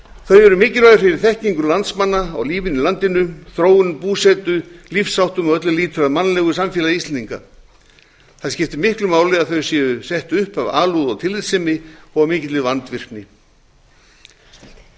þau eru mikilvæg fyrir þekkingu landsmanna á lífinu í landinu þróun búsetu lífsháttum og öllu sem lýtur að mannlegu samfélagi íslendinga það skiptir miklu máli að þau séu sett upp af alúð og tillitssemi og af mikilli vandvirkni byggðasafnið